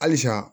Halisa